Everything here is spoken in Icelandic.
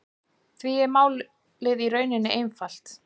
Því er málið í rauninni einfalt